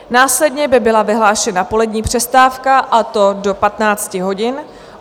Následně by byla vyhlášena polední přestávka, a to do 15 hodin.